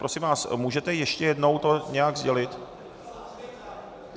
Prosím vás, můžete ještě jednou to nějak sdělit?